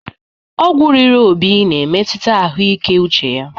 Ọgwụ riri Obi na-emetụta ahụike uche ya.